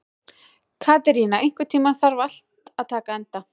Katerína, einhvern tímann þarf allt að taka enda.